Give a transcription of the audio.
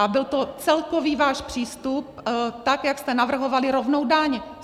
A byl to celkový váš přístup, tak jak jste navrhovali rovnou daň.